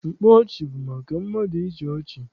Mkpa ọchị bụ maka mmadụ ịchị ọchị.